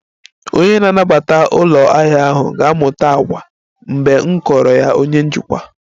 Onye na-anabata ụlọ ahịa ahụ ga-amụta àgwà mgbe m kọọrọ ya onye njikwa